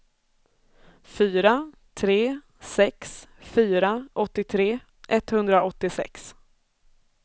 fyra tre sex fyra åttiotre etthundraåttiosex